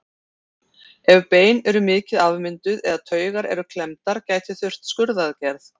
Ef bein eru mikið afmynduð eða taugar eru klemmdar gæti þurft skurðaðgerð.